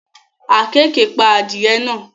Àkekèé pa adìẹ náà